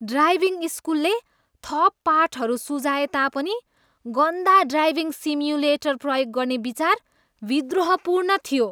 Driving स्कुलले थप पाठहरू सुझाए तापनि गन्दा ड्राइभिङ सिम्युलेटर प्रयोग गर्ने विचार विद्रोहपूर्ण थियो।